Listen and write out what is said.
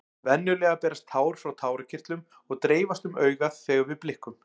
Venjulega berast tár frá tárakirtlum og dreifast um augað þegar við blikkum.